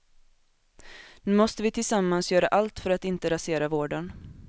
Nu måste vi tillsammans göra allt för att inte rasera vården.